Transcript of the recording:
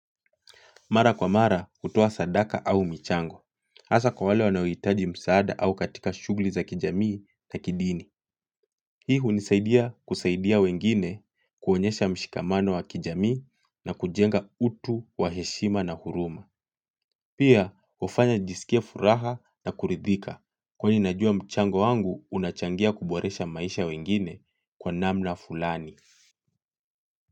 Mara kwa mara hutoa sadaka au michango. Hasa kwa wale wanaohitaji msaada au katika shughuli za kijamii na kidini. Hii hunisaidia kusaidia wengine kuonyesha mshikamano wa kijamii na kujenga utu wa heshima na huruma. Pia hufanya nijisikie furaha na kuridhika kwani najua mchango wangu unachangia kuboresha maisha ya wengine kwa namna fulani.